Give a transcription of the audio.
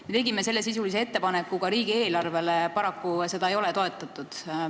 Me tegime sellesisulise ettepaneku ka riigieelarve muutmiseks, paraku seda ei ole toetatud.